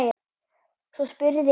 Svo spurði einn